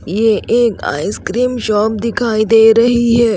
यह एक ice cream shop दिखाई दे रही है।